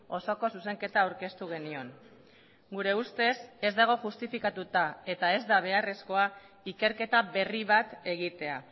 osoko zuzenketa aurkeztu genion gure ustez ez dago justifikatuta eta ez da beharrezkoa ikerketa berri bat egitea